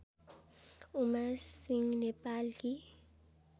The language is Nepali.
उमा सिंह नेपालकी